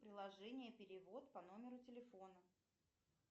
приложение перевод по номеру телефона